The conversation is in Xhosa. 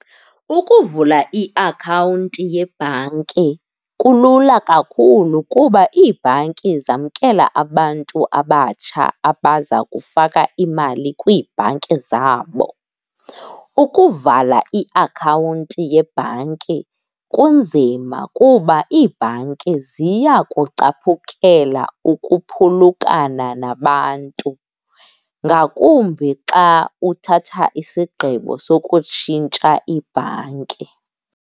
Ukuvula iakhawunti yebhanki kulula kakhulu kuba iibhanki zamkela abantu abatsha abazakufaka imali kwiibhanki zabo. Ukuvala iakhawunti yebhanki kunzima kuba iibhanki ziyakucaphukela ukuphulukana nabantu ngakumbi xa uthatha isigqibo sokutshintsha ibhanki.